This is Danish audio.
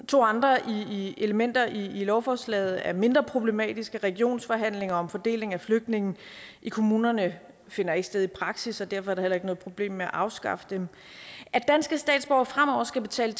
to andre elementer i lovforslaget er mindre problematiske regionsforhandlinger om fordeling af flygtninge i kommunerne finder ikke sted i praksis og derfor er der heller ikke noget problem med at afskaffe dem at danske statsborgere fremover skal betale